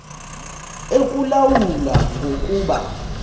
ekulawula ngoku kuba